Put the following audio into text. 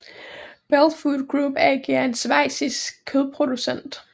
Bell Food Group AG er en schweizisk kødproducent